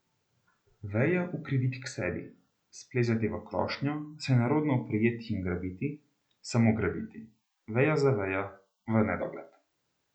Vejo ukriviti k sebi, splezati v krošnjo, se nerodno oprijeti in grabiti, samo grabiti, vejo za vejo, v nedogled.